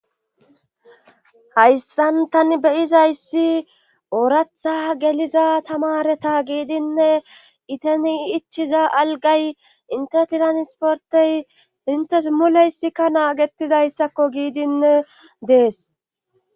Hayssan tani beyizayssi ooratha geliza tamareta giidinne iteni ichiza algay inte tiran sportey intes muleyssikka naagetidayssakko giidinne dees.